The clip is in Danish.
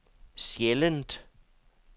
sjældent